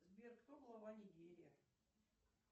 сбер кто глава нигерии